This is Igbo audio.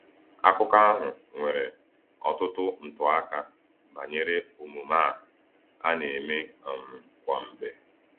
Akụkọ ahụ nwere ọtụtụ ntụaka banyere omume a a na-eme um kwa mgbe.